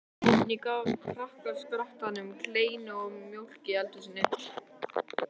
Oddný gaf krakkaskaranum kleinur og mjólk í eldhúsinu.